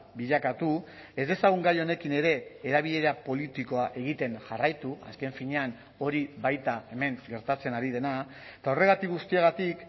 bilakatu ez dezagun gai honekin ere erabilera politikoa egiten jarraitu azken finean hori baita hemen gertatzen ari dena eta horregatik guztiagatik